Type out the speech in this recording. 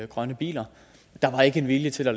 grønne biler der var ikke en vilje til at